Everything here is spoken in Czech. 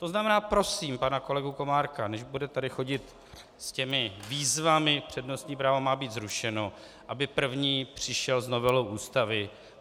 To znamená, prosím pana kolegu Komárka, než bude tady chodit s těmi výzvami - přednostní právo má být zrušeno -, aby první přišel s novelou Ústavy.